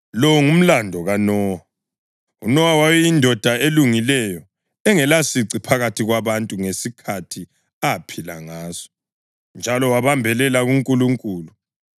Lo ngumlando kaNowa. UNowa wayeyindoda elungileyo, engelasici phakathi kwabantu ngesikhathi aphila ngaso, njalo wabambelela kuNkulunkulu.